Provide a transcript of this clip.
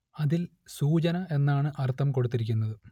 അതിൽ സൂചന എന്നാണ് അർത്ഥം കൊടുത്തിരിക്കുന്നത്